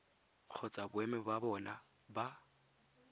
kgotsa boemo ba bona ba